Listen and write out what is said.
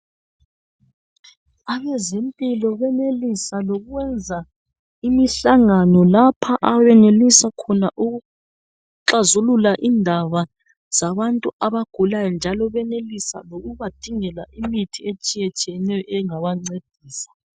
Abezempilo benelisa lokwenza imihlangano lapha abenelisa khona ukuxazulula indaba zabantu abagulayo njalo benelisa lokubadingela imithi etshiyetshiyeneyo engabancedisa.